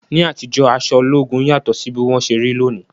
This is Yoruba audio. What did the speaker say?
Ní àtijọ́, aṣọ ológun yàtọ̀ sí bí wọ́n ṣe rí lónìí.